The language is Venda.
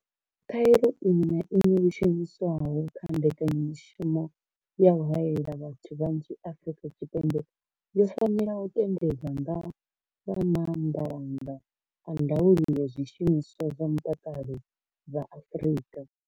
Khaelo iṅwe na iṅwe yo shumiswaho kha mbekanyamushumo ya u haela vhathu vhanzhi Afrika Tshipembe yo fanela u tendelwa nga vha maanḓalanga a ndaulo ya zwishumiswa zwa mutakalo vha Afrika.